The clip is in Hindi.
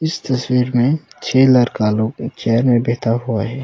इस तस्वीर में छे लरका लोग के चेयर में बैठा हुआ है।